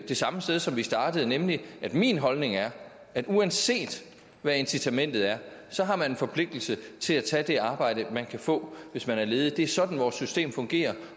det samme sted som vi startede nemlig at min holdning er at uanset hvad incitamentet er har man en forpligtelse til at tage det arbejde man kan få hvis man er ledig det er sådan vores system fungerer